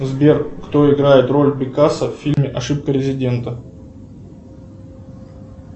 сбер кто играет роль пикассо в фильме ошибка резидента